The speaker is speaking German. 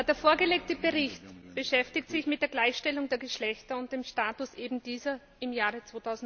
Der vorgelegte Bericht beschäftigt sich mit der Gleichstellung der Geschlechter und dem Status ebendieser im Jahre